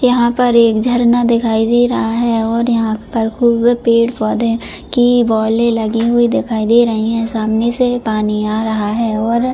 यहां पर एक झरना दिखाई दे रहा है और यहां पर खूब पेड पौधों की बोइले लगी हुई दिखाई दे रही है सामने से पानी आ रहा है और--